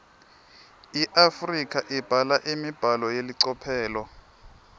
iafrika ibhala imibhalo yelicophelo